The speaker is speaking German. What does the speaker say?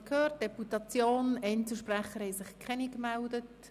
Einzelsprecher haben sich keine gemeldet.